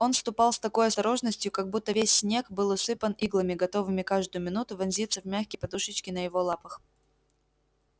он ступал с такой осторожностью как будто весь снег был усыпан иглами готовыми каждую минуту вонзиться в мягкие подушечки на его лапах